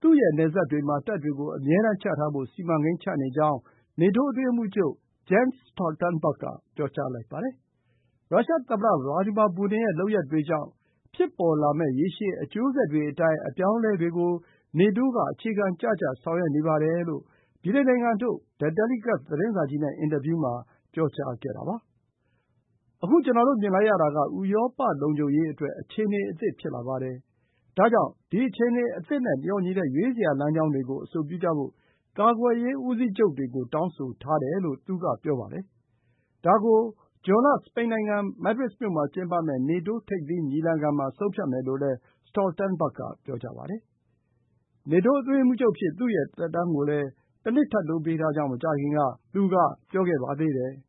သူ့ရဲ့နယ်စပ်တွေမှာ တပ်တွေကို အမြဲတန်းချထားဖို့ စီမံကိန်းချနေကြောင်း နေတိုးအတွင်းရေးမှူးချုပ် Jens Stoltenberg က ပြောလိုက်ပါတယ်။ ရုရှားသမ္မတ Vladimir Putin ရဲ့ရုရှားသမ်မတ Vladimir Putin ရဲ့ လုပ်ရပ်တွေကြောင့် ဖြစ်ပေါ်လာမယ့် ရေရှည် အကျိုးဆက်တွေကို ထင်ဟပ်မယ့် အပြောင်းအလဲတွေကို နေတိုးက အခြေခံကျကျ ဆောင်ရွက်နေပါတယ်လို့ ဗြိတိန်နိုင်ငံထုတ် The Telegraph သတင်းစာကြီးနဲ့ အင်တာဗျူးမှာ ခုလို ပြောဆိုတာပါ။ “အခု ကျနော်တို့ မြင်လိုက်ရတာက ဥရောပလုံခြုံရေးအတွက် အခြေအနေအသစ် ဖြစ်လာပါတယ်။ ဒါကြောင့် ဒီအခြေအနေအသစ်နဲ့ လျော်ညီတဲ့ ရွေးစရာ လမ်းကြောင်းတွေကို အဆိုပြုကြဖို့ ကာကွယ်ရေးဦးစီးချုပ်တွေကို တောင်းဆိုထားတယ်။” ဒါကို ဇွန်လ၊ စပိန်နိုင်ငံ မဒရစ်မြို့မှာကျင်းပမယ့် နေတိုး ထိပ်သီးညီလာခံမှာ ဆုံးဖြတ်မယ်လို့လည်း Stoltenberg က ပြောပါတယ်။ နေတိုးအတွင်းရေးမှူးချုပ်အဖြစ် သူ့ရဲ့သက်တမ်းကိုလည်း တနှစ် ထပ်တိုးပေးထားကြောင်း မကြာခင်က သူက ပြောခဲ့ပါတယ်။